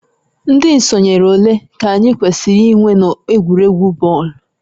Ndị sonyere ole ka anyị kwesịrị inwe n'egwuregwu bọọlụ?